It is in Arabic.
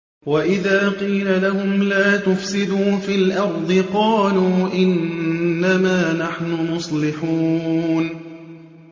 وَإِذَا قِيلَ لَهُمْ لَا تُفْسِدُوا فِي الْأَرْضِ قَالُوا إِنَّمَا نَحْنُ مُصْلِحُونَ